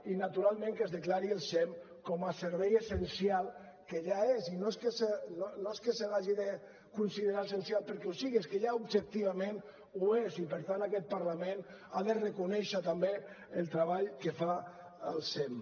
i naturalment que es declari el sem com a servei essencial que ja és i no és que se l’hagi de considerar essencial perquè ho sigui és que ja objectivament ho és i per tant aquest parlament ha de reconèixer també el treball que fa el sem